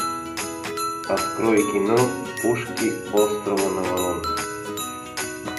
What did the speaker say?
открой кино пушки острова наварон